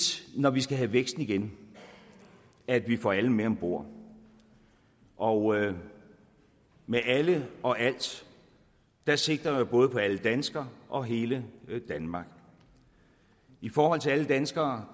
når vi skal have vækst igen at vi får alle med om bord og med alle og alt sigter jeg både til alle danskere og på hele danmark i forhold til alle danskere